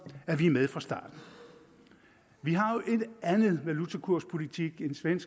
at vi er med fra starten vi har jo en anden valutakurspolitik end sverige